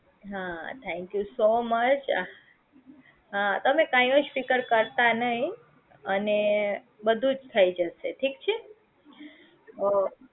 હા Thank you so much તમે કાંઈજ ફિકર કરતા નહીં અને બધુજ થઇ જશે ઠીક છે તો